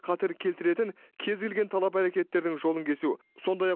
қатер келтіретін кез келген талап әрекеттердің жолын кесу сондай ақ